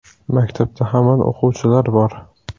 Maktabda hamon o‘quvchilar bor.